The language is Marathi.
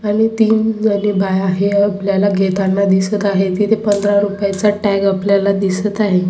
आणि तीन जणी बाया आहे. हे आपल्याला घेताना दिसत आहे इथे पंधरा रुपये चा टॅग आपल्याला दिसत आहे.